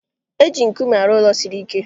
Eji nkume arụ ụlọ siri ike